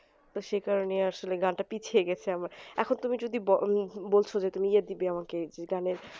তো সে কারণেই আসলে উহ বলছো যে তুমি যে দিবে আমাকে যে গানের